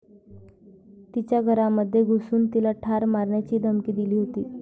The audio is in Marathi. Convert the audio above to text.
तिच्या घरामध्ये घुसून तिला ठार मारण्याचीही धमकी दिली होती.